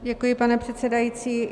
Děkuji, pane předsedající.